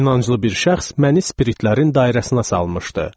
İnancılı bir şəxs məni spiritlərin dairəsinə salmışdı.